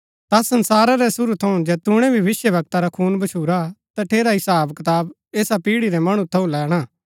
ता संसारा रै सुरू थऊँ जैतूणै भी भविष्‍यवक्ता रा खून भच्छुरा तटेरा हिसाब कताब ऐसा पीढ़ी रै मणु थऊँ लैणा